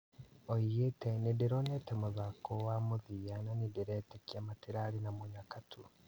Oigĩte "Nindorete mũthako wa mũthia na nĩndĩretĩkia matĩrarĩ na mũnyaka tu"